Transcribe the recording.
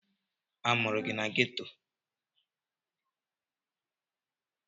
A mụrụ gị na Ghetto?